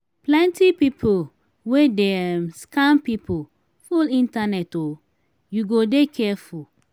plenty pipu wey dey um scam pipu full internet o you go dey careful.